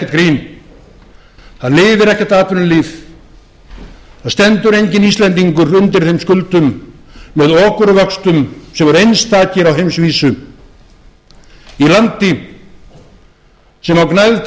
grín það lifir ekkert atvinnulíf það stendur enginn íslendingur undir þeim skuldum með okurvöxtum sem eru einstakir á heimsvísu í landi sem á gnægð